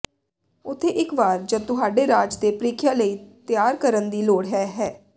ਉੱਥੇ ਇੱਕ ਵਾਰ ਜਦ ਤੁਹਾਡੇ ਰਾਜ ਦੇ ਪ੍ਰੀਖਿਆ ਲਈ ਤਿਆਰ ਕਰਨ ਦੀ ਲੋੜ ਹੈ ਹੈ